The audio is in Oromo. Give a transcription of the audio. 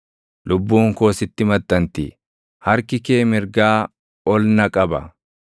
Lubbuun koo sitti maxxanti; harki kee mirgaa ol na qaba.